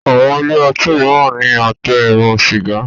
Àwọn ilé otí míràn ní Àtẹ eérún sìgá.